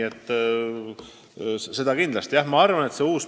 Seda kindlasti!